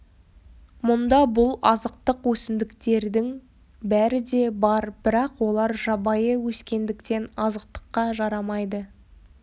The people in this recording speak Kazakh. мұнда бұл азықтық өсімдіктердің бәрі де бар бірақ олар жабайы өскендіктен азықтыққа жарамайды